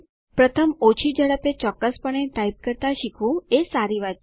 પ્રથમ ઓછી ઝડપે ચોક્કસપણે ટાઇપ કરતા શીખવું એ સારી વાત છે